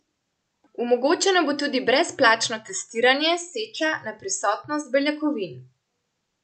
Omogočeno bo tudi brezplačno testiranje seča na prisotnost beljakovin.